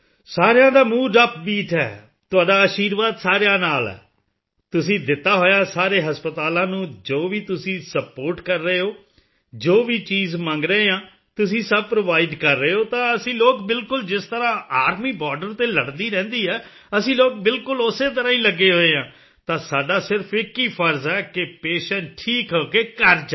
ਸਾਰਿਆਂ ਦਾ mood upbeat ਹੈ ਤੁਹਾਡਾ ਅਸ਼ੀਰਵਾਦ ਸਾਰਿਆਂ ਨਾਲ ਹੈ ਤੁਸੀਂ ਦਿੱਤਾ ਹੋਇਆ ਸਾਰੇ ਹਸਪਤਾਲਾਂ ਨੂੰ ਜੋ ਵੀ ਤੁਸੀਂ ਸਪੋਰਟ ਕਰ ਰਹੇ ਹੋ ਜੋ ਵੀ ਚੀਜ਼ ਮੰਗ ਰਹੇ ਹਾਂ ਤੁਸੀਂ ਸਭ ਪ੍ਰੋਵਾਈਡ ਕਰ ਰਹੇ ਹੋ ਤਾਂ ਅਸੀਂ ਲੋਕ ਬਿਲਕੁਲ ਜਿਸ ਤਰ੍ਹਾਂ ਆਰਮੀ ਬੋਰਡਰ ਤੇ ਲੜਦੀ ਰਹਿੰਦੀ ਹੈ ਅਸੀਂ ਲੋਕ ਬਿਲਕੁਲ ਉਸੇ ਤਰ੍ਹਾਂ ਹੀ ਲੱਗੇ ਹੋਏ ਹਾਂ ਤਾਂ ਸਾਡਾ ਸਿਰਫ਼ ਇੱਕ ਹੀ ਫ਼ਰਜ਼ ਹੈ ਕਿ ਪੇਸ਼ੈਂਟ ਠੀਕ ਹੋ ਕੇ ਘਰ ਜਾਏ